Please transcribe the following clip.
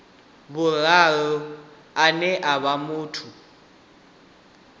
vhuraru ane a vha muthu